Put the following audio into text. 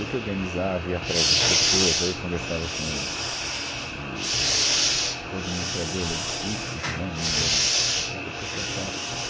Eu que organizava, ia atrás das pessoas, daí conversava com o, o, tsc, o administrador lá do sítio, o João, o Mineiro, putz, uma pessoa fantástica.